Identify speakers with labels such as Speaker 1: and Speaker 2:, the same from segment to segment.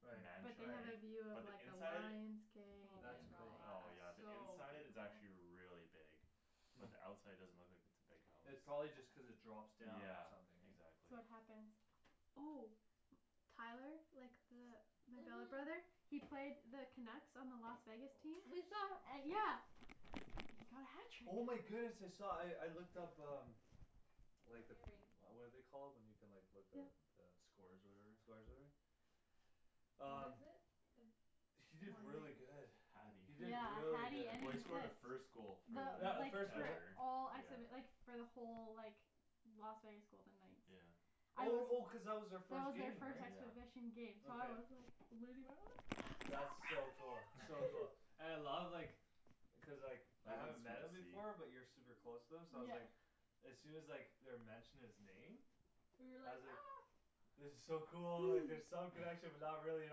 Speaker 1: Right
Speaker 2: But
Speaker 3: mansion,
Speaker 2: they have a
Speaker 1: right
Speaker 3: right
Speaker 2: view of
Speaker 3: But the
Speaker 2: like a
Speaker 3: inside?
Speaker 2: lion's gate and
Speaker 4: Oh
Speaker 2: like
Speaker 4: my
Speaker 1: That's
Speaker 2: it's
Speaker 1: cool
Speaker 3: Oh yeah, the
Speaker 2: so
Speaker 3: inside
Speaker 4: gosh
Speaker 3: is actually
Speaker 2: big
Speaker 3: really big
Speaker 1: Mm
Speaker 3: But the outside doesn't look like it's a big house
Speaker 1: It probably just cuz it drops down or
Speaker 3: Yeah,
Speaker 1: something eh
Speaker 3: exactly
Speaker 2: So what happens? Oh Tyler, like the my billet brother,
Speaker 4: Mhm
Speaker 2: he played the Canucks on the Las Vegas team
Speaker 4: We saw
Speaker 2: An- yeah He got a
Speaker 1: Oh my
Speaker 2: hat trick
Speaker 1: goodness I saw, I I looked up um Like the,
Speaker 4: Ring
Speaker 1: what are they called when you can like look up
Speaker 2: Yep
Speaker 1: the
Speaker 3: Scores or
Speaker 1: Scores
Speaker 3: whatever?
Speaker 1: or whatever?
Speaker 2: What
Speaker 1: Um
Speaker 2: is it, the
Speaker 1: He did really good
Speaker 3: Hatty
Speaker 1: He did
Speaker 2: Yeah,
Speaker 1: really
Speaker 2: hatty
Speaker 1: good
Speaker 2: and an
Speaker 3: Well he scored the
Speaker 2: assist.
Speaker 3: first goal for
Speaker 1: Yeah,
Speaker 2: The
Speaker 1: the
Speaker 2: like
Speaker 3: like,
Speaker 1: first
Speaker 2: the
Speaker 1: goal
Speaker 3: ever,
Speaker 2: all acts
Speaker 3: yeah
Speaker 2: of it like for the whole like Las Vegas Golden Knights
Speaker 3: Yeah
Speaker 2: I
Speaker 1: Oh
Speaker 2: was
Speaker 1: oh cuz that
Speaker 2: That
Speaker 1: was
Speaker 2: was
Speaker 1: their
Speaker 2: our
Speaker 1: first
Speaker 2: first
Speaker 1: game right?
Speaker 3: Yeah
Speaker 2: exhibition game, so I
Speaker 1: Okay
Speaker 2: was like losing my mind, so
Speaker 1: That's so cool,
Speaker 2: proud
Speaker 1: so
Speaker 2: of
Speaker 1: cool, and I
Speaker 2: you
Speaker 1: love like Cuz like,
Speaker 3: I
Speaker 1: I
Speaker 3: like how
Speaker 1: haven't met him before but you're
Speaker 3: the
Speaker 1: super close to him so I was like
Speaker 2: Yeah
Speaker 1: As soon as like they were mentioning his name
Speaker 4: You were
Speaker 1: I
Speaker 4: like
Speaker 1: was
Speaker 4: ah
Speaker 1: like It was so cool, like there's some connection but not really at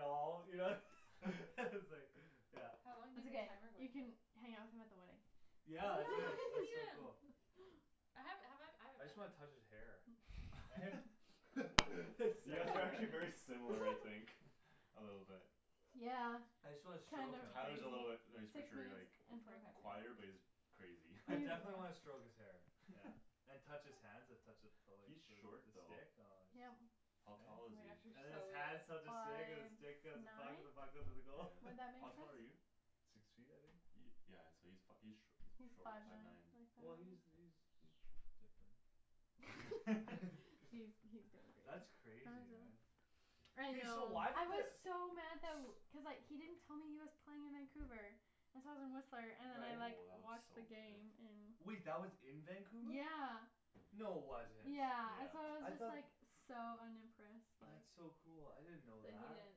Speaker 1: all, you know S- like, yeah
Speaker 4: How long
Speaker 2: It's
Speaker 4: did the
Speaker 2: ok,
Speaker 4: timer go
Speaker 2: you can
Speaker 4: for?
Speaker 2: hang out with him at the wedding
Speaker 1: Yeah
Speaker 4: Yeah,
Speaker 1: I
Speaker 4: we'll
Speaker 1: could,
Speaker 4: get to
Speaker 1: that's so
Speaker 4: meet him
Speaker 1: cool
Speaker 4: I haven't, have I, I
Speaker 1: I
Speaker 4: haven't met
Speaker 1: just wanna
Speaker 4: him
Speaker 1: touch his hair Eh? It's,
Speaker 3: You guys
Speaker 1: that's
Speaker 3: are
Speaker 1: right
Speaker 3: actually very similar, I think A little bit
Speaker 2: Yeah,
Speaker 1: I just wanna
Speaker 2: kind
Speaker 1: stroke
Speaker 2: of
Speaker 1: him
Speaker 3: Tyler's a little bit,
Speaker 2: crazy
Speaker 3: no he's for
Speaker 2: Six
Speaker 3: sure
Speaker 2: minutes
Speaker 3: like
Speaker 2: and forty five
Speaker 3: quieter,
Speaker 4: Okay
Speaker 3: but
Speaker 2: seconds
Speaker 3: he's crazy
Speaker 1: I definitely wanna stroke
Speaker 2: He's
Speaker 1: his hair, yeah And touch his hands and touch the the
Speaker 3: He's short though
Speaker 1: stick, aw it's
Speaker 2: Yep
Speaker 3: How tall
Speaker 1: Eh?
Speaker 4: Oh
Speaker 3: is
Speaker 4: my gosh, you're
Speaker 1: And then
Speaker 3: he?
Speaker 1: his
Speaker 4: so
Speaker 1: hands touch the
Speaker 4: weird
Speaker 1: stick and the
Speaker 2: Five
Speaker 1: stick touch the
Speaker 2: nine?
Speaker 1: puck and the puck
Speaker 2: Would
Speaker 1: goes to the
Speaker 3: Yeah,
Speaker 1: goal
Speaker 2: that
Speaker 3: how
Speaker 2: make
Speaker 3: tall are you?
Speaker 2: sense?
Speaker 1: Six feet I think?
Speaker 3: Yeah so he's fi- he's sh- he's
Speaker 2: He's
Speaker 3: short,
Speaker 2: five
Speaker 3: five nine, yeah
Speaker 1: Well
Speaker 2: nine
Speaker 1: he's he's he's sh- different
Speaker 2: He's he's different, how
Speaker 1: That's crazy
Speaker 2: does it look?
Speaker 1: man
Speaker 2: I
Speaker 4: I
Speaker 1: Hey so
Speaker 2: know,
Speaker 4: know
Speaker 1: why
Speaker 2: I
Speaker 1: did the
Speaker 2: was
Speaker 1: s-
Speaker 2: so mad tha- w- cuz like he didn't tell me he was playing in Vancouver and so I was in Whistler
Speaker 3: Oh
Speaker 2: and then I
Speaker 1: Right
Speaker 2: like
Speaker 3: that looks
Speaker 2: watched
Speaker 3: so
Speaker 2: the
Speaker 3: good
Speaker 2: game in
Speaker 1: Wait that was in Vancouver?
Speaker 2: Yeah
Speaker 1: No wasn't
Speaker 2: Yeah, and so I was
Speaker 1: I
Speaker 3: Yeah
Speaker 2: just
Speaker 1: thought
Speaker 2: like, so unimpressed like
Speaker 1: That's so cool, I didn't know
Speaker 4: That
Speaker 1: that
Speaker 4: he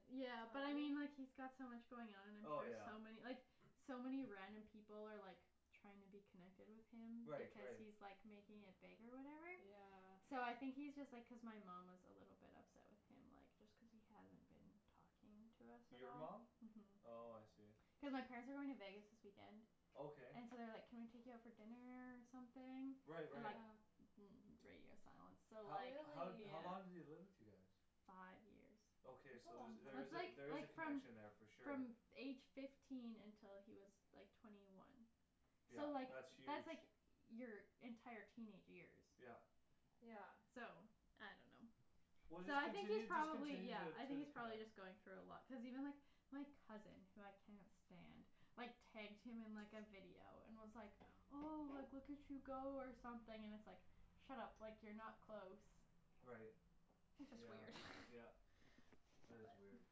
Speaker 4: didn't
Speaker 2: Yeah, but
Speaker 4: tell
Speaker 2: I mean
Speaker 4: you?
Speaker 2: like he's got so much going on and then
Speaker 1: Oh
Speaker 2: there's
Speaker 1: yeah
Speaker 2: so many, like so many random people are like trying to be connected with him
Speaker 1: Right
Speaker 2: because
Speaker 1: right
Speaker 2: he's like making it big or whatever
Speaker 4: Yeah
Speaker 2: So I think he's just like cuz my mom was a little bit upset with him like just cuz he hasn't been talking to us at
Speaker 1: Your
Speaker 2: all
Speaker 1: mom?
Speaker 2: Mhm
Speaker 1: Oh I see
Speaker 2: Cuz my parents are going to Vegas this weekend
Speaker 1: Okay
Speaker 2: And so they're like can we take you out for dinner or something?
Speaker 1: Right
Speaker 2: And like
Speaker 1: right
Speaker 4: Yeah
Speaker 2: mm it's radio silence so
Speaker 1: How
Speaker 2: like
Speaker 1: how how long did he
Speaker 4: Really?
Speaker 1: live with you guys?
Speaker 2: Five years
Speaker 1: Okay
Speaker 4: That's a
Speaker 1: so there's
Speaker 4: long
Speaker 1: there
Speaker 4: time
Speaker 2: That's
Speaker 1: is a,
Speaker 2: like
Speaker 1: there is
Speaker 2: like
Speaker 1: a
Speaker 2: from
Speaker 1: connection there for sure
Speaker 2: from f- age fifteen until he was like twenty one So
Speaker 1: Yeah,
Speaker 2: like,
Speaker 1: that's huge
Speaker 2: that's like your entire teenage years
Speaker 1: Yeah
Speaker 4: Yeah
Speaker 2: So I dunno
Speaker 1: Well
Speaker 2: So
Speaker 1: just
Speaker 2: I think he's
Speaker 1: continue, just
Speaker 2: probably
Speaker 1: continue
Speaker 2: yeah,
Speaker 1: t-
Speaker 2: I
Speaker 1: to
Speaker 2: think he's probably
Speaker 1: connect
Speaker 2: just going through a lot, cuz even like, my cousin, who I cannot stand, like tagged him in like a video and was like oh, like look at you go or something and it's like Shut up, like you're not close
Speaker 1: Right
Speaker 2: That's just
Speaker 1: Yeah
Speaker 2: weird
Speaker 1: yeah That is weird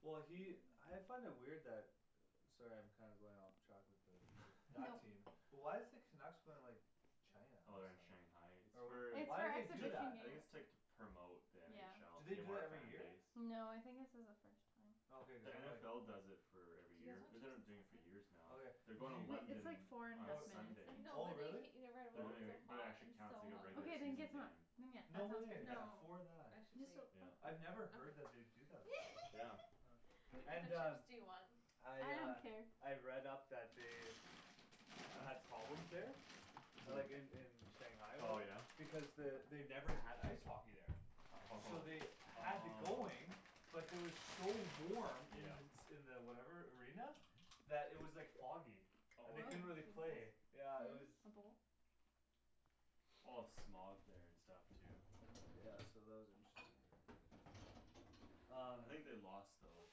Speaker 1: Well he, I find it weird that Sorry I'm kinda going off track with the, with that team, but why is the Canucks going like China
Speaker 3: Oh they're in Shanghai, it's
Speaker 1: Or whatever,
Speaker 3: for,
Speaker 2: It's
Speaker 1: why'd
Speaker 2: for
Speaker 1: they do
Speaker 2: exhibition
Speaker 3: ju-
Speaker 1: that?
Speaker 3: I think it's like to
Speaker 2: game
Speaker 3: promote the
Speaker 1: Do
Speaker 3: NFL, to
Speaker 1: they
Speaker 4: Yeah
Speaker 3: gain
Speaker 1: do
Speaker 3: more
Speaker 1: that every year?
Speaker 3: fanbase
Speaker 2: No, I think this is a first time
Speaker 1: Okay cuz
Speaker 3: The
Speaker 1: then like
Speaker 3: NFL does it for every
Speaker 4: Do you guys
Speaker 3: year,
Speaker 4: want
Speaker 3: they've been like doing it
Speaker 4: chips
Speaker 3: for
Speaker 4: and
Speaker 3: years
Speaker 4: salsa?
Speaker 3: now
Speaker 1: Okay,
Speaker 3: They're
Speaker 1: did
Speaker 3: going to
Speaker 1: you
Speaker 2: Wait, it's
Speaker 3: London
Speaker 2: like four and a
Speaker 3: on
Speaker 1: Oh,
Speaker 2: half
Speaker 3: Sunday
Speaker 4: I
Speaker 2: minutes
Speaker 4: know
Speaker 1: oh
Speaker 4: but then you
Speaker 1: really?
Speaker 4: can't eat it right
Speaker 3: They're
Speaker 4: away cuz
Speaker 3: doing
Speaker 4: it's
Speaker 1: Okay
Speaker 4: so
Speaker 3: it, but it
Speaker 4: hot,
Speaker 3: actually
Speaker 4: I'm
Speaker 3: counts
Speaker 4: so
Speaker 3: like a regular
Speaker 2: Okat, then
Speaker 3: season
Speaker 4: hungry
Speaker 2: get, then
Speaker 3: game
Speaker 2: yeah,
Speaker 1: No
Speaker 2: that sounds
Speaker 1: way,
Speaker 3: Yeah,
Speaker 4: No,
Speaker 2: great
Speaker 1: for
Speaker 4: I
Speaker 1: that
Speaker 2: Just
Speaker 4: should
Speaker 2: don't
Speaker 4: wait
Speaker 3: yeah
Speaker 1: I'd never heard that they'd do that
Speaker 3: Yeah
Speaker 1: before
Speaker 4: What kind
Speaker 1: And
Speaker 4: of
Speaker 1: uh
Speaker 4: chips do you want?
Speaker 1: I
Speaker 2: I don't
Speaker 1: uh,
Speaker 2: care
Speaker 1: I've read up that they Had problems there A
Speaker 3: Who?
Speaker 1: like in in Shanghai or
Speaker 3: Oh
Speaker 1: whatever,
Speaker 3: yeah?
Speaker 1: because the, they've never had ice hockey there So
Speaker 3: Oh,
Speaker 1: they had the going,
Speaker 3: oh
Speaker 1: but it was so warm in
Speaker 3: Yeah
Speaker 1: the s- in the whatever arena, that it was like foggy,
Speaker 3: Oh
Speaker 1: and
Speaker 2: Whoa,
Speaker 1: they
Speaker 2: can
Speaker 1: couldn't
Speaker 2: you
Speaker 1: really play,
Speaker 2: pass?
Speaker 1: yeah it was
Speaker 4: Hm?
Speaker 2: A bowl?
Speaker 3: A lot of smog there and stuff too
Speaker 1: Yeah so that was interesting Um
Speaker 3: I think they lost though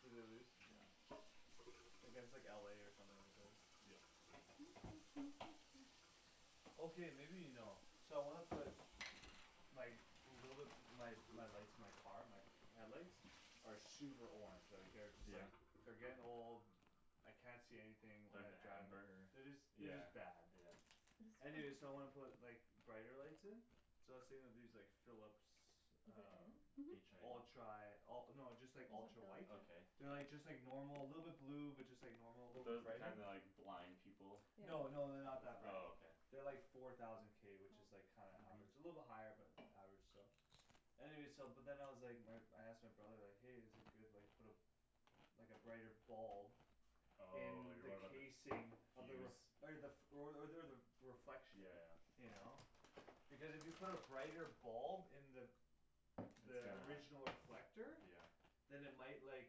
Speaker 1: Did they lose?
Speaker 3: Yeah
Speaker 1: Like it's like LA or something at least
Speaker 3: Yep
Speaker 1: Okay maybe you know, so I wanna put Like, little bit, my lights, my car, my headlights? Are super orange, like they're just
Speaker 3: Yeah?
Speaker 1: like, they're getting old I can't see anything when
Speaker 3: Like
Speaker 1: I drive,
Speaker 3: amber?
Speaker 1: they're just they're
Speaker 3: Yeah
Speaker 1: just bad
Speaker 3: yeah
Speaker 1: Anyway so I wanna put like brighter lights in So I was thinking of these like Philips um
Speaker 3: H i
Speaker 2: Mhm
Speaker 1: Ultra, oh no just like ultra white
Speaker 3: Okay
Speaker 1: They're like just like normal, little bit blue, but just like normal, little bit
Speaker 3: Those the
Speaker 1: brighter
Speaker 3: kind that like, blind people
Speaker 4: Yeah
Speaker 1: No no they're not that bright
Speaker 3: Oh okay
Speaker 1: They're like four thousand k which is like kinda average, a little bit
Speaker 3: Mhm
Speaker 1: higher but average still Anyway so but then I was like, my I asked my brother like hey is it good like put a Like a brighter bulb In
Speaker 3: On you're
Speaker 1: the
Speaker 3: worried about the fuse
Speaker 1: casing of the r- okay the, f- or o- or the reflection
Speaker 3: Yeah yeah
Speaker 1: You know? Because if you put a brighter bulb in the
Speaker 3: It's
Speaker 1: The
Speaker 3: gonna
Speaker 1: original reflector
Speaker 3: Yeah
Speaker 1: Then it might like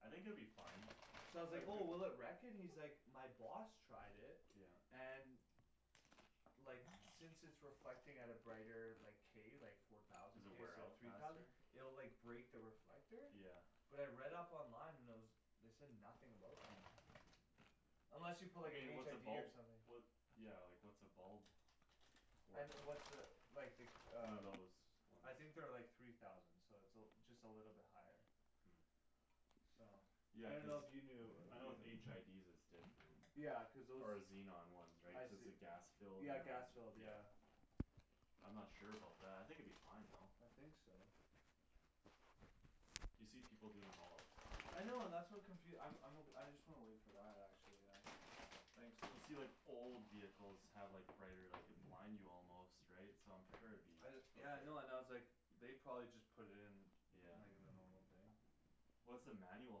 Speaker 3: I think it would be fine
Speaker 1: So I was like oh will it wreck it? He's like my boss tried it,
Speaker 3: Yeah
Speaker 1: and Like since it's reflecting at a brighter like, k, like four thousand
Speaker 3: Does it
Speaker 1: k
Speaker 3: wear
Speaker 1: instead of
Speaker 3: out
Speaker 1: three thousand
Speaker 3: faster?
Speaker 1: It'll like break the reflector
Speaker 3: Yeah
Speaker 1: But I read up online and there was, they said nothing about that
Speaker 3: Mm
Speaker 1: Unless you put
Speaker 3: I
Speaker 1: like a
Speaker 3: mean like
Speaker 1: HID
Speaker 3: what's a bulb
Speaker 1: or something
Speaker 3: What, yeah like what's a bulb,
Speaker 1: I
Speaker 3: worth
Speaker 1: n- what's a, like the
Speaker 3: One
Speaker 1: uh
Speaker 3: of those ones
Speaker 1: I think they're like three thousand so it's a l- just a little bit higher
Speaker 3: Mm
Speaker 1: So I
Speaker 3: Yeah cuz,
Speaker 1: dunno if you knew
Speaker 3: I know with HIDs it's different
Speaker 1: Yeah, cuz those
Speaker 3: Or xenon ones right,
Speaker 1: I
Speaker 3: cuz
Speaker 1: see
Speaker 3: the gas filled,
Speaker 1: Yeah
Speaker 3: and
Speaker 1: gas filled, yeah
Speaker 3: yeah I'm not sure about that, I think it'd be fine though
Speaker 1: I think so
Speaker 3: You see people doing them all the time
Speaker 1: I know and that's what confu- I'm I'm o- I just wanna wait for that, actually yeah Thanks though
Speaker 3: You see like old vehicles have like brighter, like could blind you almost, right, so I'm sure it'd be
Speaker 1: I d- yeah I know and I was
Speaker 3: okay
Speaker 1: like They probably just put it in,
Speaker 3: Yeah
Speaker 1: like the normal thing
Speaker 3: What's the manual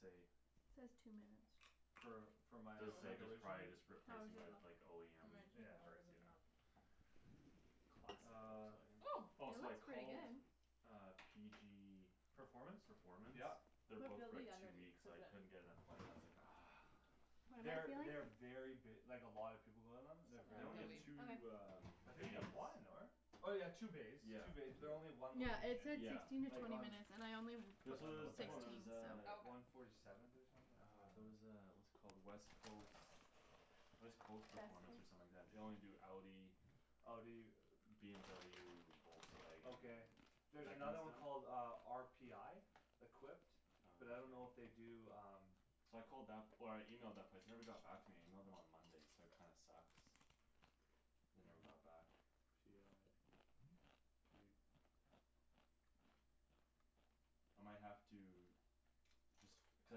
Speaker 3: say?
Speaker 2: Says two minutes
Speaker 1: For for my a-
Speaker 3: Does
Speaker 1: s-
Speaker 3: say
Speaker 1: like
Speaker 3: just
Speaker 1: original?
Speaker 3: probably just replacing it with OEM
Speaker 4: It might
Speaker 1: Yeah
Speaker 4: take longer
Speaker 3: parts,
Speaker 4: than
Speaker 3: yeah
Speaker 4: that
Speaker 3: Classic
Speaker 1: Uh
Speaker 3: Volkswagen
Speaker 4: Oh
Speaker 3: Oh
Speaker 2: Oh it
Speaker 3: so I
Speaker 2: looks pretty
Speaker 3: called
Speaker 2: good
Speaker 3: uh PG
Speaker 1: Performance?
Speaker 3: Performance?
Speaker 1: Yeah
Speaker 3: They're booked
Speaker 4: Feel
Speaker 3: for
Speaker 4: the
Speaker 3: like two
Speaker 4: underneath,
Speaker 3: weeks,
Speaker 4: cuz
Speaker 3: I
Speaker 4: it
Speaker 3: couldn't get an appointment, I was like ah
Speaker 2: What am
Speaker 1: They're
Speaker 2: I
Speaker 1: they very
Speaker 2: feeling?
Speaker 1: b- like a lot of people go to them, they're
Speaker 4: Still
Speaker 3: They
Speaker 4: kind
Speaker 1: very
Speaker 4: of
Speaker 3: only have
Speaker 1: busy
Speaker 4: doughy
Speaker 3: two um
Speaker 1: I
Speaker 2: Okay
Speaker 1: think they
Speaker 3: bays
Speaker 1: have one, n- or? Oh yeah two bays,
Speaker 3: Yeah
Speaker 1: two bays, but they're only
Speaker 3: yeah
Speaker 1: one
Speaker 2: Yeah it
Speaker 1: location,
Speaker 2: said
Speaker 3: Yeah
Speaker 2: sixteen to
Speaker 1: like
Speaker 2: twenty
Speaker 1: on
Speaker 2: minutes and I only
Speaker 1: I
Speaker 3: There's
Speaker 2: put
Speaker 1: don't
Speaker 3: so
Speaker 1: know
Speaker 3: there's
Speaker 1: what
Speaker 3: the
Speaker 1: that
Speaker 3: one there
Speaker 2: sixteen
Speaker 1: is
Speaker 3: was
Speaker 2: so
Speaker 3: uh
Speaker 4: Oh okay
Speaker 1: One forty seventh or something, yeah
Speaker 3: Ah, there's a what's it called, West Coast West Coast Performance or something like that, they only do Audi
Speaker 1: Oh do you?
Speaker 3: BMW, Volkswagen,
Speaker 1: Okay There's
Speaker 3: that
Speaker 1: another
Speaker 3: kinda
Speaker 1: one called
Speaker 3: stuff?
Speaker 1: uh, RPI? Equipped But I don't know if they
Speaker 3: Okay
Speaker 1: do um
Speaker 3: So I called that, or I emailed that place, they never got back to me and I emailed them on Monday so that kinda sucks They never got back I might have to Cuz I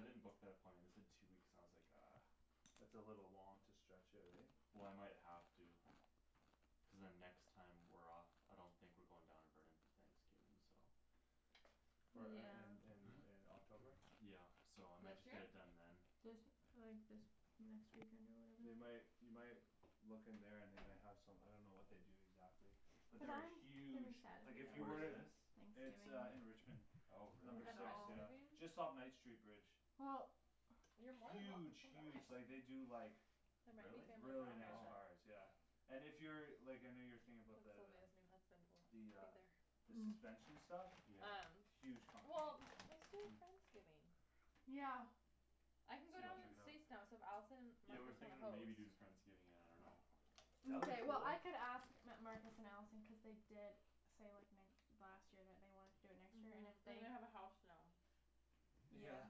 Speaker 3: didn't book that appointment, they said two weeks and I was like ah
Speaker 1: That's a little long to stretch it right?
Speaker 3: Well I might have to Cuz then next time we're off I don't think we're going down to Burnaby Thanksgiving, so
Speaker 1: For in in in
Speaker 2: Yeah
Speaker 1: in October?
Speaker 3: Yeah so I might
Speaker 4: This
Speaker 3: just get
Speaker 4: year?
Speaker 3: it done then
Speaker 2: This, like this, next weekend or
Speaker 1: They
Speaker 2: whatever
Speaker 1: might, you might Look in there and they might have some, I don't know what they do exactly But there are huge, like if you
Speaker 3: Where
Speaker 1: were
Speaker 3: is
Speaker 1: to
Speaker 3: this?
Speaker 1: It's uh in Richmond
Speaker 2: Thanksgiving
Speaker 3: Oh
Speaker 4: Have
Speaker 3: really?
Speaker 1: Number
Speaker 4: you got
Speaker 1: six,
Speaker 4: friends
Speaker 1: yeah,
Speaker 4: leaving?
Speaker 1: just off Knight street bridge
Speaker 2: Well
Speaker 4: You're more than welcome
Speaker 1: Huge
Speaker 4: to come to us
Speaker 1: huge, like they do like
Speaker 4: There might be
Speaker 3: Really?
Speaker 4: family
Speaker 1: Really
Speaker 4: drama,
Speaker 1: nice
Speaker 3: Oh
Speaker 4: but
Speaker 1: cars, yeah And if you're, like I know you were thinking about
Speaker 4: Cuz
Speaker 1: the the
Speaker 4: Sylvia's new husband will be
Speaker 1: The uh
Speaker 4: there
Speaker 1: The
Speaker 2: Mm
Speaker 1: suspension stuff?
Speaker 3: Yeah
Speaker 4: Um,
Speaker 1: Huge company
Speaker 4: well let's do a
Speaker 3: Hm
Speaker 4: friendsgiving
Speaker 2: Yeah
Speaker 4: I can go
Speaker 3: Sweet I'll
Speaker 4: down to
Speaker 3: check it
Speaker 4: the
Speaker 3: out
Speaker 4: States now so if Allison and
Speaker 3: Yeah we were
Speaker 4: Marcus wanna
Speaker 3: thinking of
Speaker 4: host
Speaker 3: maybe doing friendsgiving, I dunno
Speaker 1: That would be
Speaker 2: Mkay well
Speaker 1: cool
Speaker 2: I could ask M- Marcus and Allison cuz they did say like n- last year that they wanted to do it next year and if
Speaker 4: Mhm,
Speaker 2: they
Speaker 4: and they have a house now
Speaker 1: Yeah
Speaker 2: Yeah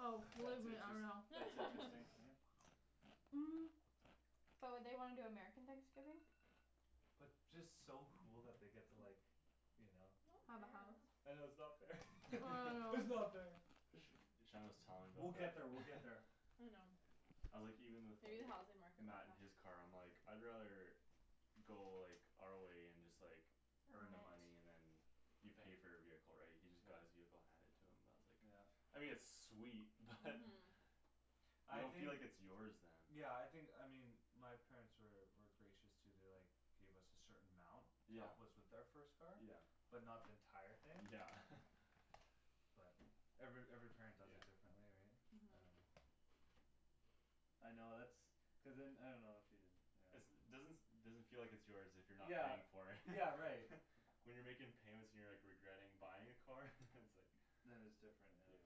Speaker 2: Oh believe
Speaker 1: That's
Speaker 2: me I
Speaker 1: interest-
Speaker 2: know
Speaker 1: that's interesting, yeah
Speaker 2: Mm But would they wanna do American Thanksgiving?
Speaker 1: But just so cool that they get to like You know
Speaker 2: Have a house
Speaker 1: I know it's not fair
Speaker 2: I
Speaker 1: it's
Speaker 2: know
Speaker 1: not fair
Speaker 3: Shandryn was telling me
Speaker 1: We'll
Speaker 3: about
Speaker 1: get
Speaker 3: that
Speaker 1: there, we'll get there
Speaker 4: I know
Speaker 3: I'm like even with
Speaker 4: Maybe the
Speaker 3: like
Speaker 4: housing market will
Speaker 3: Matt in
Speaker 4: crash
Speaker 3: his car, I'm like I'd rather Go like, our way and just like
Speaker 2: Earn
Speaker 3: earn the money
Speaker 2: it
Speaker 3: and then You pay for your vehicle right, he just got his vehicle handed to him, I was like
Speaker 1: Yeah
Speaker 3: I mean it's sweet, but You
Speaker 1: I
Speaker 3: don't
Speaker 1: think
Speaker 3: feel like it's yours then
Speaker 1: Yeah I think, I mean my parents were were gracious too, they like Gave us a certain amount to
Speaker 3: Yeah
Speaker 1: help us with our first car
Speaker 3: Yeah
Speaker 1: But not the entire thing
Speaker 3: Yeah
Speaker 1: But every every parent does
Speaker 3: Yeah
Speaker 1: it differently right
Speaker 4: Mhm
Speaker 1: I know that's Cuz then I dunno if you, you know
Speaker 3: It's doesn- doesn't feel like it's yours if you're not
Speaker 1: Yeah,
Speaker 3: paying for it
Speaker 1: yeah right
Speaker 3: When you're making payments and you're like regretting buying a car? it's like
Speaker 1: Then it's different, yeah
Speaker 3: Yeah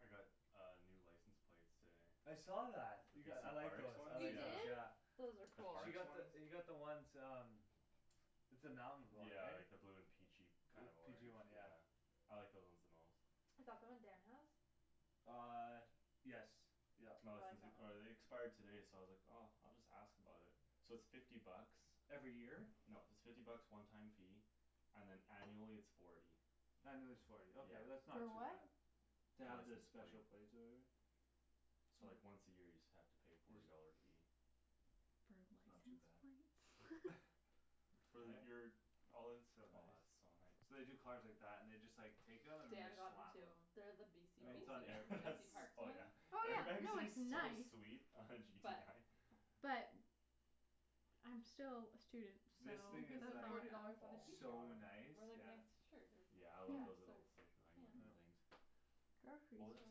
Speaker 3: I got a new license plate today
Speaker 1: I saw that. You got, I like
Speaker 3: Parks
Speaker 1: those, I
Speaker 3: one?
Speaker 4: You
Speaker 1: like those
Speaker 3: Yeah
Speaker 4: did?
Speaker 1: yeah
Speaker 4: Those are
Speaker 3: The
Speaker 4: cool
Speaker 1: She
Speaker 3: parks
Speaker 1: got
Speaker 3: one?
Speaker 1: the, you got the ones um It's the mountain one
Speaker 3: Yeah
Speaker 1: right?
Speaker 3: like the blue and peachy
Speaker 1: Blue
Speaker 3: kind of orange,
Speaker 1: peachy one yeah
Speaker 3: yeah I like those ones the most
Speaker 4: Is that the one Dan has?
Speaker 1: Uh yes yup
Speaker 3: No
Speaker 4: I
Speaker 3: this is
Speaker 4: like
Speaker 3: the,
Speaker 4: that one
Speaker 3: or they expired today so I was like oh, I'll just ask about it So it's fifty bucks
Speaker 1: Every year?
Speaker 3: No it's fifty bucks one time fee, and then annually it's forty
Speaker 1: Annually it's forty, ok
Speaker 3: Yeah
Speaker 1: that's not
Speaker 2: For
Speaker 1: too
Speaker 2: what?
Speaker 1: bad To
Speaker 3: The
Speaker 1: have the
Speaker 3: license
Speaker 1: special
Speaker 3: plate
Speaker 1: plates or whatever
Speaker 3: So like once a year you just have to pay forty dollar fee
Speaker 2: For
Speaker 1: That's not too bad
Speaker 2: license plates?
Speaker 3: For
Speaker 1: Eh?
Speaker 3: your, all
Speaker 1: It's
Speaker 3: it's
Speaker 1: so
Speaker 3: oh that's
Speaker 1: nice
Speaker 3: so nice
Speaker 1: So they do cars like that and just like take them and then they
Speaker 4: Dan got one
Speaker 1: slam
Speaker 4: too,
Speaker 1: them
Speaker 4: they're the
Speaker 1: I
Speaker 4: BC
Speaker 1: mean it's
Speaker 4: BC
Speaker 1: not
Speaker 3: Oh
Speaker 1: an
Speaker 3: yeah
Speaker 4: BC
Speaker 3: that's
Speaker 4: parks
Speaker 3: oh
Speaker 4: one
Speaker 3: yeah
Speaker 2: Oh yeah, no it's
Speaker 3: so
Speaker 2: nice
Speaker 3: sweet
Speaker 4: But
Speaker 2: But I'm still a student, so
Speaker 1: This
Speaker 4: You
Speaker 1: thing
Speaker 4: could
Speaker 1: is
Speaker 4: spend
Speaker 1: like
Speaker 4: forty dollars on a pizza,
Speaker 1: So
Speaker 3: Oh my
Speaker 1: nice,
Speaker 4: or like a
Speaker 1: yeah
Speaker 4: nice shirt
Speaker 3: Yeah I
Speaker 4: or
Speaker 2: Yeah
Speaker 3: love
Speaker 4: dress
Speaker 3: those
Speaker 4: or
Speaker 3: little station wagon
Speaker 4: pants
Speaker 1: Mm
Speaker 3: things What was I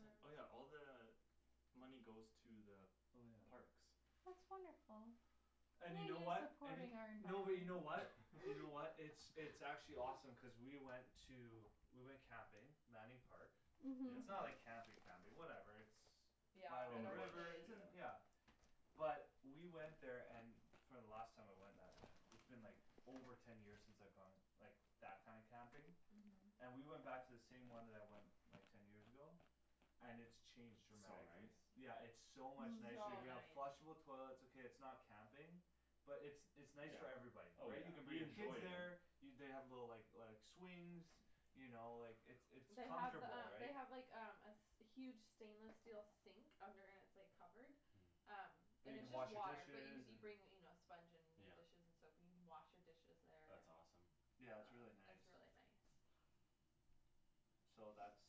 Speaker 3: saying? Oh yeah, all the Money goes to the
Speaker 1: Oh yeah
Speaker 3: parks
Speaker 2: That's wonderful
Speaker 1: And you know what, and y-
Speaker 2: supporting
Speaker 1: no but you know what?
Speaker 2: our
Speaker 1: You know what,
Speaker 2: environment
Speaker 1: it's it's actually awesome cuz we went to, we went camping, Manning Park
Speaker 2: Mhm
Speaker 1: It's
Speaker 3: Yep
Speaker 1: not like camping
Speaker 4: Mhm
Speaker 1: camping, whatever it's By a
Speaker 4: Yeah,
Speaker 3: In
Speaker 1: little
Speaker 4: at
Speaker 3: the
Speaker 4: the
Speaker 3: bush,
Speaker 1: river, it's
Speaker 4: rivers
Speaker 1: in,
Speaker 3: yeah
Speaker 1: yeah But we went there and for the last time I went that, it's been like over ten years since I've gone like, that kind of camping
Speaker 4: Mhm
Speaker 1: And we went back to the same one that I went, like ten years ago? And it's changed
Speaker 3: So
Speaker 1: dramatically,
Speaker 3: nice
Speaker 1: yeah it's so much nicer
Speaker 4: So
Speaker 1: you
Speaker 2: Mm
Speaker 1: have
Speaker 3: Yeah
Speaker 4: nice
Speaker 1: flushable toilets okay it's not camping But it's it's nice
Speaker 3: Yeah,
Speaker 1: for everybody,
Speaker 3: oh
Speaker 1: right
Speaker 3: yeah,
Speaker 1: you can bring
Speaker 3: you
Speaker 1: your kids
Speaker 3: enjoy
Speaker 1: there
Speaker 3: it
Speaker 1: You they have the like like swings You know like it's it's
Speaker 4: They have the
Speaker 1: comfortable
Speaker 4: um they
Speaker 1: right
Speaker 4: have like um a s- huge stainless steel sink, under and it's like covered Um
Speaker 3: Mm
Speaker 1: That
Speaker 4: And
Speaker 1: you
Speaker 4: it's
Speaker 1: can
Speaker 4: just
Speaker 1: wash your
Speaker 4: water, but you
Speaker 1: dishes,
Speaker 4: c- you
Speaker 1: and
Speaker 4: bring you know sponge and your
Speaker 3: Yeah
Speaker 4: dishes and soap in, you can wash your dishes there
Speaker 3: That's awesome
Speaker 1: Yeah it's
Speaker 4: Uh,
Speaker 1: really nice
Speaker 4: it's really nice
Speaker 1: So that's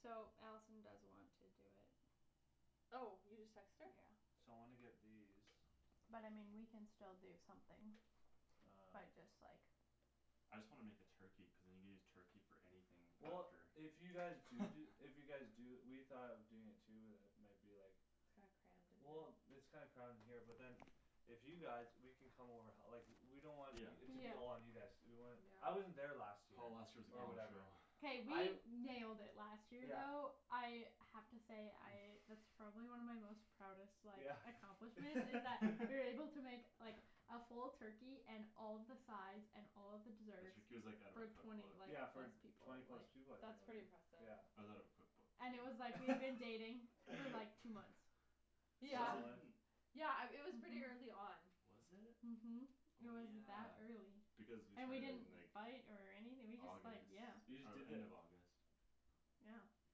Speaker 2: So Allison does want to do it
Speaker 4: Oh, you just texted her?
Speaker 2: Yeah
Speaker 1: So wanna get these
Speaker 2: But I mean we can still do something, by
Speaker 1: Um
Speaker 2: just like
Speaker 3: I just wanna make a turkey, cuz then you can just use turkey for anything
Speaker 1: Well
Speaker 3: after
Speaker 1: if you guys do do, if you guys do, we thought of doing it too but then it might be like
Speaker 4: It's kinda crammed in
Speaker 1: Well
Speaker 4: here
Speaker 1: it's kinda crammed in here but then If you guys, we can come over h- like, we don't want
Speaker 3: Yeah
Speaker 1: y-
Speaker 2: Yeah
Speaker 1: it to be all on you guys to do, we want, I wasn't
Speaker 4: Yeah
Speaker 1: there last year,
Speaker 3: Oh last year was a
Speaker 1: or
Speaker 3: gong show
Speaker 1: whatever
Speaker 2: K
Speaker 1: I
Speaker 2: we nailed it last year
Speaker 1: Yeah
Speaker 2: though, I have to say I, that's probably one of my most proudest like
Speaker 1: Yeah
Speaker 2: accomplishments, is that we were able to make like A full turkey and all of the sides and all of the desserts,
Speaker 3: like out of her
Speaker 2: for twenty,
Speaker 3: cookbook
Speaker 2: like
Speaker 1: Yeah for
Speaker 2: plus people,
Speaker 1: twenty
Speaker 2: like
Speaker 1: plus people I think
Speaker 4: That's pretty
Speaker 1: like
Speaker 4: impressive
Speaker 1: yeah
Speaker 3: Was out of a cookbook
Speaker 2: And it was like we had been dating for like two months
Speaker 4: Yeah
Speaker 1: Solid
Speaker 4: Yeah um, it was pretty
Speaker 2: Mhm
Speaker 4: early on
Speaker 2: Mhm It
Speaker 3: Oh
Speaker 2: was
Speaker 3: yeah,
Speaker 2: that early,
Speaker 3: because you
Speaker 2: and we
Speaker 3: started
Speaker 2: didn't
Speaker 3: in like
Speaker 2: fight or anything we just like,
Speaker 3: August,
Speaker 2: yeah
Speaker 1: You just
Speaker 3: oh
Speaker 1: did
Speaker 3: end
Speaker 1: it
Speaker 3: of August
Speaker 2: Yeah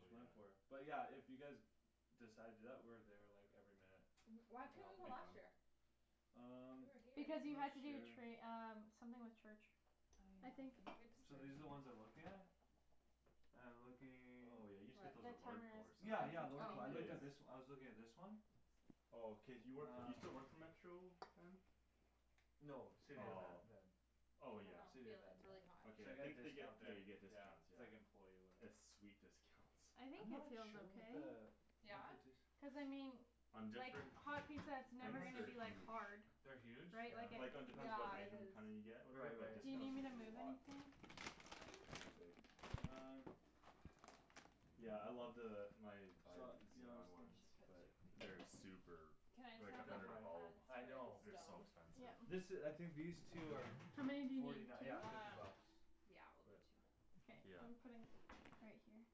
Speaker 3: Oh yeah
Speaker 1: but yeah, if you guys Decide to do that, we're there like every minute
Speaker 4: Mhm why
Speaker 1: We can
Speaker 4: couldn't
Speaker 1: help
Speaker 4: you
Speaker 3: It
Speaker 4: go
Speaker 1: you
Speaker 3: be
Speaker 4: last
Speaker 3: fun
Speaker 4: year?
Speaker 1: Um,
Speaker 4: We were here
Speaker 2: Because you had
Speaker 1: not
Speaker 2: to do
Speaker 1: sure
Speaker 2: tra- um, something with church I
Speaker 4: I
Speaker 2: think
Speaker 4: uh,
Speaker 1: So these are
Speaker 4: I'm
Speaker 1: the ones I'm looking at? I'm looking
Speaker 3: Oh yeah you just get those at
Speaker 4: What
Speaker 3: Lordco or
Speaker 1: Yeah, yeah,
Speaker 3: something
Speaker 1: Lordco-
Speaker 4: Oh
Speaker 1: I looked at this, I was looking at this one
Speaker 3: Oh cuz you work for, you still work
Speaker 1: Uh
Speaker 3: for Metro Van?
Speaker 1: No, City of Van,
Speaker 3: Oh
Speaker 1: yeah
Speaker 3: Oh
Speaker 4: I
Speaker 3: yeah
Speaker 4: dunno,
Speaker 1: City of
Speaker 4: feel
Speaker 1: Van,
Speaker 4: it, it's really hot
Speaker 1: yeah
Speaker 3: Okay
Speaker 1: So I
Speaker 3: I
Speaker 1: get a
Speaker 3: think they get,
Speaker 1: discount
Speaker 3: yeah
Speaker 1: there,
Speaker 3: you get
Speaker 1: yeah,
Speaker 3: discounts,
Speaker 1: it's
Speaker 3: yeah
Speaker 1: like employee or whatever
Speaker 3: it's sweet discounts
Speaker 2: I
Speaker 1: I'm
Speaker 2: think it
Speaker 1: not
Speaker 2: feels
Speaker 1: sure what
Speaker 2: okay
Speaker 1: the, what
Speaker 4: Yeah?
Speaker 1: the d-
Speaker 2: Cuz I mean
Speaker 3: On
Speaker 2: like,
Speaker 3: different
Speaker 2: hot pizza it's
Speaker 1: I'm
Speaker 2: never
Speaker 3: things
Speaker 1: not s-
Speaker 2: gonna
Speaker 3: they're
Speaker 2: be like
Speaker 3: huge
Speaker 2: hard
Speaker 1: They're huge?
Speaker 2: Right,
Speaker 1: Yeah
Speaker 2: like
Speaker 3: Like it depends what
Speaker 4: Yeah,
Speaker 2: it
Speaker 4: it
Speaker 3: item
Speaker 4: is
Speaker 3: kinda you get or whatever,
Speaker 1: Right
Speaker 3: but
Speaker 1: right
Speaker 2: Do you need
Speaker 3: discount's
Speaker 2: me to
Speaker 3: usually
Speaker 2: move
Speaker 3: a lot
Speaker 2: anything?
Speaker 3: They're pretty big
Speaker 1: Um
Speaker 3: Yeah I love the, my my
Speaker 1: Su- Yeah I was
Speaker 3: xenon
Speaker 1: think-
Speaker 4: We
Speaker 3: ones
Speaker 4: should put two
Speaker 3: but
Speaker 4: of these
Speaker 3: they're
Speaker 4: in
Speaker 3: super,
Speaker 4: Can I
Speaker 3: they're
Speaker 4: just
Speaker 3: like
Speaker 4: have
Speaker 3: a
Speaker 4: the
Speaker 1: They're
Speaker 3: hundred a
Speaker 4: hot
Speaker 1: prolly,
Speaker 3: bulb
Speaker 4: pads
Speaker 1: I
Speaker 4: for
Speaker 1: know
Speaker 3: They're
Speaker 4: the
Speaker 3: so
Speaker 4: stove?
Speaker 3: expensive
Speaker 1: This
Speaker 2: Yeah
Speaker 1: i- I think these two are,
Speaker 2: How many do
Speaker 1: f-
Speaker 2: you need,
Speaker 1: forty nine,
Speaker 2: two?
Speaker 1: yeah fifty
Speaker 4: Um,
Speaker 1: bucks
Speaker 4: yeah we'll do
Speaker 1: But
Speaker 4: two
Speaker 2: K,
Speaker 3: Yeah
Speaker 2: I'm putting, right here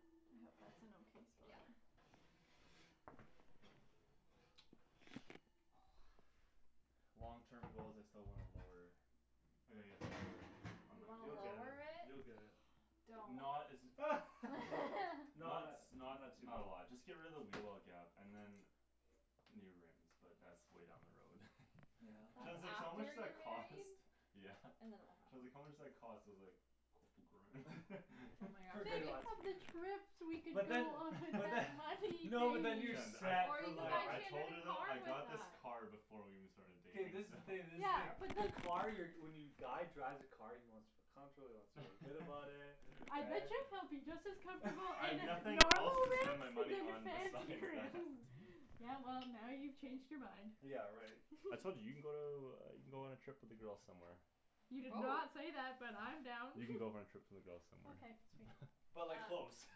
Speaker 2: I hope that's an okay
Speaker 4: Yeah
Speaker 2: spot
Speaker 3: Long terms goals I still want a lower I gotta get it lowered, on
Speaker 4: You
Speaker 3: my
Speaker 4: wanna
Speaker 1: You'll
Speaker 3: car
Speaker 1: get it,
Speaker 4: lower it?
Speaker 1: you'll get it
Speaker 4: Don't
Speaker 3: Not as
Speaker 1: Not
Speaker 3: Not
Speaker 1: tha-
Speaker 3: s-
Speaker 1: not
Speaker 3: not,
Speaker 1: too
Speaker 3: not a lot, just get rid of the wheel well gap and then New rims, but that's way down the road
Speaker 1: Yeah
Speaker 3: Shan's
Speaker 4: That's
Speaker 3: like so how much
Speaker 4: after
Speaker 3: that
Speaker 4: you're married
Speaker 3: cost? Yeah
Speaker 4: And then it'll
Speaker 3: Shan's like
Speaker 4: happen
Speaker 3: how much does that cost, I was like
Speaker 4: Oh my
Speaker 1: For good
Speaker 2: Think
Speaker 4: gosh
Speaker 1: ones
Speaker 2: of the trips we could
Speaker 1: But
Speaker 2: go
Speaker 1: then
Speaker 2: on with
Speaker 1: but then
Speaker 2: that
Speaker 1: no but
Speaker 2: money,
Speaker 1: then you're
Speaker 2: babe
Speaker 3: Shan, I,
Speaker 1: set
Speaker 4: Or
Speaker 1: for
Speaker 4: you could
Speaker 1: life
Speaker 3: no
Speaker 4: buy
Speaker 3: I
Speaker 1: right
Speaker 3: told her
Speaker 4: Shandryn a
Speaker 3: though,
Speaker 4: car
Speaker 3: I
Speaker 4: with
Speaker 3: got this
Speaker 4: that
Speaker 3: car before we even started
Speaker 1: K
Speaker 3: dating
Speaker 1: this is the thing this is the
Speaker 2: Yeah
Speaker 1: thing
Speaker 2: but
Speaker 1: the
Speaker 2: the
Speaker 1: car you're, when you guy drives a car he wants to feel comfortable, he wants to feel good about it,
Speaker 2: I bet
Speaker 1: right
Speaker 2: you he'll be just as comfortable in
Speaker 3: I've
Speaker 2: a-
Speaker 3: nothing else
Speaker 2: normal
Speaker 3: to spend my money
Speaker 2: rims than
Speaker 3: on
Speaker 2: fancy
Speaker 3: besides that
Speaker 2: rims Yeah well, now you've changed your mind
Speaker 1: Yeah right
Speaker 3: I told you, you can go to, you can go on a trip with the girls somewhere
Speaker 2: You did not
Speaker 4: Probab-
Speaker 2: say that, but I'm down
Speaker 3: You can go on a trip with the girls somewhere
Speaker 2: Okay sweet
Speaker 1: But like
Speaker 4: Um
Speaker 1: close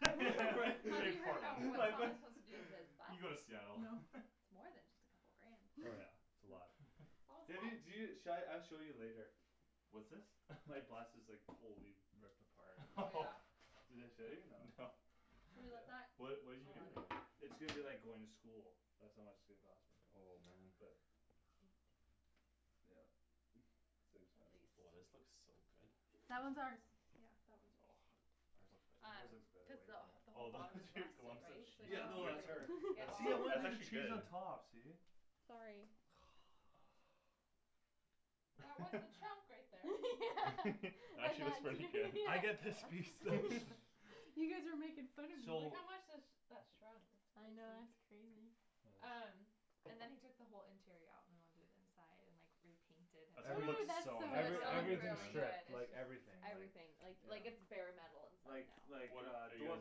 Speaker 1: right,
Speaker 4: Have you heard
Speaker 3: Portland
Speaker 4: about what
Speaker 1: like th-
Speaker 4: Thomas wants to do with his bus?
Speaker 3: You can go to Seattle
Speaker 4: It's more than just a couple grand
Speaker 1: Oh yeah, it's a lot
Speaker 4: All
Speaker 1: Maybe y- do,
Speaker 4: set
Speaker 1: sha- I'll show you later
Speaker 3: What's this
Speaker 1: My bus is like totally ripped apart
Speaker 4: Oh yeah
Speaker 1: Did I show you, no
Speaker 3: No
Speaker 4: Should we let that
Speaker 3: What, what you do
Speaker 4: I'll
Speaker 3: in
Speaker 4: add it
Speaker 3: here
Speaker 1: It's going to be like going to school That's how much it's gonna cost me,
Speaker 3: Oh man
Speaker 1: but Yep it's too
Speaker 4: At
Speaker 1: expensive
Speaker 3: Oh this
Speaker 4: least
Speaker 3: looks so good
Speaker 2: That one's ours
Speaker 4: Yeah, that one's yours
Speaker 1: Ours
Speaker 4: Um,
Speaker 3: Ours
Speaker 1: looks
Speaker 3: looks
Speaker 1: better,
Speaker 3: better
Speaker 4: cuz
Speaker 1: way
Speaker 4: the wh-
Speaker 1: better
Speaker 4: the
Speaker 3: Oh
Speaker 4: whole
Speaker 3: those
Speaker 4: bottom is rusted
Speaker 3: lumps of
Speaker 4: right, so
Speaker 3: cheese,
Speaker 1: Yeah no that's her
Speaker 3: that's
Speaker 1: See I
Speaker 3: so,
Speaker 1: wanted
Speaker 3: that's
Speaker 1: to do
Speaker 3: actually
Speaker 1: cheese on
Speaker 3: good
Speaker 1: top, see
Speaker 4: Sorry That was the chunk right there
Speaker 3: Actually looks
Speaker 2: Yeah
Speaker 3: pretty good
Speaker 1: I get this piece though
Speaker 2: You guys were making fun of me
Speaker 4: Like
Speaker 1: So
Speaker 4: how much has that shrunk
Speaker 2: I
Speaker 4: S-
Speaker 2: know, that's
Speaker 4: crazy
Speaker 2: crazy
Speaker 1: Uh
Speaker 4: Um, and then he took the whole interior out and went and did inside and like, repainted
Speaker 3: That's gonna
Speaker 1: Every-
Speaker 2: Ooh
Speaker 3: look
Speaker 2: that's so
Speaker 3: so
Speaker 4: It still
Speaker 3: nice
Speaker 1: every,
Speaker 3: though, when
Speaker 4: looks
Speaker 3: you
Speaker 2: much
Speaker 3: get it
Speaker 1: everything
Speaker 4: really
Speaker 3: done
Speaker 4: good,
Speaker 2: fun
Speaker 1: stripped,
Speaker 4: it's
Speaker 1: like
Speaker 4: just
Speaker 1: everything,
Speaker 4: everything,
Speaker 1: like
Speaker 4: like it's
Speaker 1: Yeah
Speaker 4: bare metal inside
Speaker 1: Like
Speaker 4: now
Speaker 1: like
Speaker 3: What a-
Speaker 1: uh
Speaker 3: are you
Speaker 1: door
Speaker 3: guys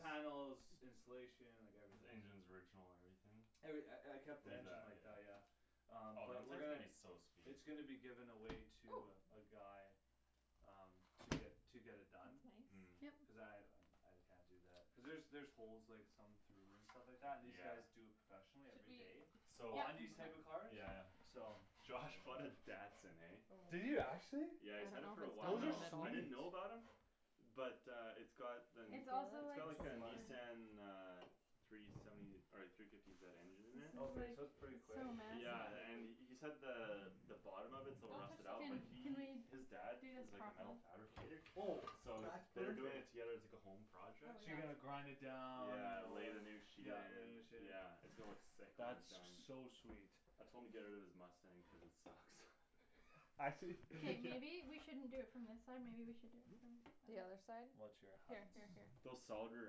Speaker 1: panels, insulation, like
Speaker 3: The
Speaker 1: everything
Speaker 3: engines original and everything?
Speaker 1: Every- I I kept the engine like that,
Speaker 3: Yeah
Speaker 1: yeah Um
Speaker 3: Oh the
Speaker 1: but we're
Speaker 3: inside's gonna
Speaker 1: gonna
Speaker 3: be so sweet
Speaker 1: It's gonna be given away
Speaker 4: Oh
Speaker 1: to uh, a guy Um, to get, to get it done
Speaker 4: That's
Speaker 3: Mm
Speaker 4: nice
Speaker 1: Cuz
Speaker 2: Yep
Speaker 1: I, um I can't do that cuz there's there's holes like some through and stuff like that, and these
Speaker 3: Yeah
Speaker 1: guys do it professionally
Speaker 4: Should
Speaker 1: every
Speaker 4: we
Speaker 1: day
Speaker 3: So
Speaker 1: On these type
Speaker 2: Yep
Speaker 1: of
Speaker 4: Okay
Speaker 3: yeah
Speaker 1: cars,
Speaker 3: yeah
Speaker 1: so
Speaker 3: Josh bought a Datsun, eh
Speaker 4: Oh, I
Speaker 1: Did
Speaker 4: don't
Speaker 1: you actually?
Speaker 3: Yeah he's had it
Speaker 4: know
Speaker 3: for a while
Speaker 4: if
Speaker 1: Those are
Speaker 3: now,
Speaker 4: it's done
Speaker 3: I
Speaker 4: in the middle
Speaker 3: didn't
Speaker 1: sweet
Speaker 3: know about him But uh it's got the,
Speaker 4: Can you
Speaker 2: It's
Speaker 4: feel
Speaker 2: also
Speaker 3: it's
Speaker 2: like
Speaker 3: got like
Speaker 2: super
Speaker 3: a
Speaker 4: it?
Speaker 3: Nissan uh Three seventy, or like three fifty zed engine in
Speaker 2: This
Speaker 3: there
Speaker 2: is
Speaker 1: Okay
Speaker 2: like,
Speaker 1: so that's pretty
Speaker 2: it's so
Speaker 1: quick,
Speaker 3: Yeah and he
Speaker 2: massive
Speaker 3: said the the bottom of it's a little
Speaker 4: Don't touch
Speaker 3: rusted
Speaker 4: the
Speaker 3: out, but
Speaker 2: Can,
Speaker 4: tin
Speaker 2: can we
Speaker 3: he,
Speaker 2: do
Speaker 3: his dad
Speaker 2: this
Speaker 3: is like a metal
Speaker 2: properly
Speaker 3: fabricator
Speaker 1: Oh
Speaker 3: So
Speaker 1: that's
Speaker 3: they're doing it
Speaker 1: perfect
Speaker 3: together as like a home
Speaker 4: Oh
Speaker 3: project
Speaker 1: So
Speaker 4: yeah
Speaker 1: you're gonna grind it down, you
Speaker 3: Yeah,
Speaker 1: know
Speaker 3: lay
Speaker 1: whatever,
Speaker 3: the new sheet
Speaker 1: yeah lay a
Speaker 3: in,
Speaker 1: new sheet
Speaker 3: yeah it's gonna look sick when he's
Speaker 1: That's
Speaker 3: done
Speaker 1: so sweet
Speaker 3: I told him to get out of his Mustang cuz it sucks
Speaker 1: Actually?
Speaker 2: K
Speaker 3: Yeah
Speaker 2: maybe we shouldn't do it from this side maybe we should do it
Speaker 4: The
Speaker 2: from
Speaker 4: other side?
Speaker 1: Watch your
Speaker 4: Here
Speaker 1: hands
Speaker 4: here here
Speaker 3: Those solid rear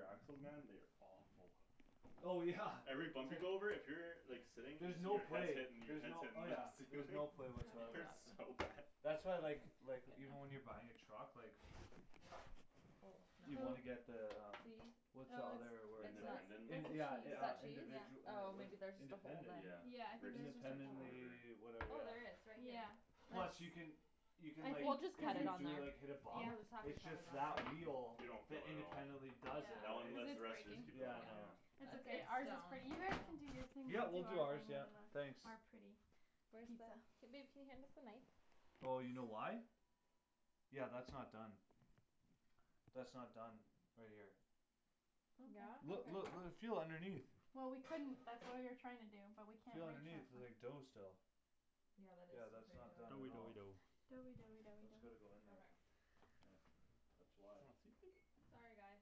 Speaker 3: axles man, they are awful
Speaker 1: Oh yeah,
Speaker 3: Every bump
Speaker 1: t-
Speaker 3: you go over, if you're like sitting, then
Speaker 1: There's no
Speaker 3: your head's
Speaker 1: play,
Speaker 3: hitting, your
Speaker 1: there's
Speaker 3: head's
Speaker 1: no,
Speaker 3: hitting
Speaker 1: oh
Speaker 3: the
Speaker 1: yeah there's
Speaker 3: ceiling
Speaker 1: no play
Speaker 3: It
Speaker 1: whatsoever on
Speaker 3: hurts
Speaker 1: that
Speaker 3: so bad
Speaker 1: That's why I like like, even when you're buying a truck like
Speaker 4: Oh no
Speaker 1: You wanna
Speaker 2: Oh
Speaker 1: get the um
Speaker 4: See?
Speaker 1: What's the
Speaker 2: Oh
Speaker 1: other
Speaker 2: it's
Speaker 3: The
Speaker 1: word
Speaker 4: It's
Speaker 1: it's
Speaker 2: no
Speaker 1: like
Speaker 3: independent?
Speaker 2: it's,
Speaker 1: in-
Speaker 4: not
Speaker 2: that's
Speaker 1: yeah in-
Speaker 4: Is
Speaker 2: the
Speaker 1: uh
Speaker 3: Yeah
Speaker 4: that
Speaker 1: yeah
Speaker 4: cheese?
Speaker 2: cheese
Speaker 1: individu- eh,
Speaker 4: Oh
Speaker 1: what is
Speaker 4: maybe
Speaker 1: it,
Speaker 4: there's just a hole
Speaker 1: independent,
Speaker 4: then
Speaker 3: Yeah
Speaker 2: Yeah I
Speaker 3: Rift
Speaker 2: think theirs
Speaker 3: suspension
Speaker 2: was
Speaker 3: or
Speaker 1: independently,
Speaker 2: just a
Speaker 1: yeah
Speaker 3: whatever
Speaker 2: hole.
Speaker 4: Oh
Speaker 1: whatever
Speaker 4: there is, right here
Speaker 2: Yeah, that's
Speaker 1: Plus you can You can like,
Speaker 2: I
Speaker 4: We'll just
Speaker 1: if
Speaker 4: cut
Speaker 2: think
Speaker 4: it
Speaker 1: you
Speaker 4: on
Speaker 1: do it
Speaker 4: there
Speaker 2: cuz
Speaker 1: like hit a
Speaker 2: it's
Speaker 4: We'll
Speaker 1: bump
Speaker 4: just have to
Speaker 1: It's
Speaker 4: cut it
Speaker 1: just
Speaker 4: on
Speaker 1: that wheel
Speaker 3: You
Speaker 4: there
Speaker 3: don't
Speaker 1: that
Speaker 3: feel it at all
Speaker 1: independently does it,
Speaker 3: That
Speaker 1: right,
Speaker 3: one
Speaker 2: Cuz
Speaker 3: lifts,
Speaker 2: it's
Speaker 3: the rest
Speaker 2: breaking
Speaker 3: just keep going
Speaker 1: yeah no
Speaker 3: yeah
Speaker 4: Yeah
Speaker 2: It's
Speaker 4: It's
Speaker 2: okay,
Speaker 4: it's
Speaker 2: ours is
Speaker 4: stone
Speaker 2: pretty, you guys can do your thing
Speaker 1: Yeah
Speaker 2: now
Speaker 1: we'll
Speaker 2: we'll do
Speaker 1: do
Speaker 2: our
Speaker 1: ours yeah,
Speaker 2: our pretty
Speaker 1: thanks
Speaker 4: Where the,
Speaker 2: pizza
Speaker 4: k babe can you hand us the knife?
Speaker 1: Oh you know why? Yeah that's not done That's not done, right here
Speaker 4: Yeah?
Speaker 1: Look
Speaker 4: Okay
Speaker 2: Okay
Speaker 1: look l- feel underneath
Speaker 2: Well we couldn't, that's what we were trying to do, but we can't
Speaker 1: Feel underneath, there's like dough still
Speaker 4: Yeah that is
Speaker 1: Yeah that's
Speaker 4: still
Speaker 1: not done
Speaker 4: pretty
Speaker 3: Doughy
Speaker 1: at all
Speaker 3: doughy
Speaker 4: doughy
Speaker 3: dough
Speaker 2: Doughy doughy doughy
Speaker 1: That's gotta go
Speaker 2: dough
Speaker 1: in there,
Speaker 4: Okay
Speaker 1: yeah That's why
Speaker 4: Sorry guys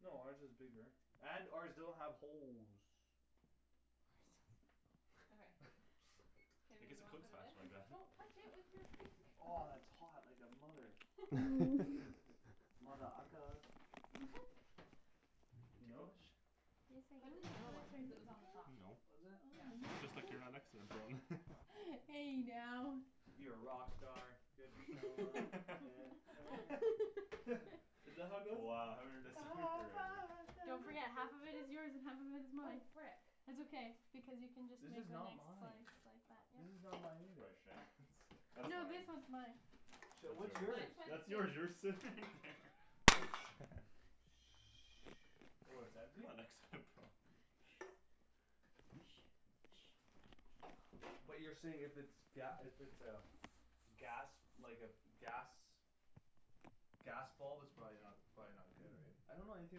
Speaker 1: No ours is bigger, and ours doesn't have holes
Speaker 4: Okay K
Speaker 3: I
Speaker 4: babe
Speaker 3: guess
Speaker 4: you
Speaker 3: it
Speaker 4: wanna
Speaker 3: cooks
Speaker 4: put it in?
Speaker 3: faster like that
Speaker 4: Don't touch it with your finger
Speaker 1: Aw, it's hot like a mother-
Speaker 2: Mm
Speaker 1: Mother ucka
Speaker 3: Good
Speaker 1: You
Speaker 3: to go?
Speaker 1: know?
Speaker 2: Yes
Speaker 4: Put it in the middle one, cuz it was on the top
Speaker 2: I
Speaker 3: No
Speaker 1: Was
Speaker 4: Yeah
Speaker 1: it?
Speaker 3: Just like you're not
Speaker 2: Hey now
Speaker 1: You're a rock star, get the show on, get paid Isn't that how it goes?
Speaker 3: Wow haven't heard that song in forever
Speaker 2: Don't forget, half of it is yours and half of it is
Speaker 4: Oh
Speaker 2: mine
Speaker 4: frick
Speaker 2: It's okay, because you can just make
Speaker 1: This
Speaker 2: the
Speaker 1: is
Speaker 2: next
Speaker 1: not
Speaker 2: slice
Speaker 1: mine This is not mine either
Speaker 2: like that, yeah
Speaker 3: That's
Speaker 2: No
Speaker 3: fine
Speaker 2: this one's mine
Speaker 1: Shit,
Speaker 3: That's
Speaker 1: what's
Speaker 3: yours,
Speaker 1: yours?
Speaker 4: Mine's by the
Speaker 3: that's
Speaker 4: sink
Speaker 3: yours you were sitting there
Speaker 1: Oh it's
Speaker 3: You
Speaker 1: empty?
Speaker 3: were next to it Paul
Speaker 1: But you're saying if it's ga- if it's a gas, like a, gas Gas bulb it's probably not, it's probably not good right? I don't know anything